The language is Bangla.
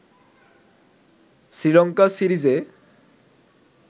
শ্রীলঙ্কা সিরিজে